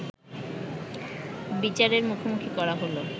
বিচারের মুখোমুখি করা হলো